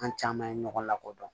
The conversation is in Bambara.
An caman ye ɲɔgɔn lakodɔn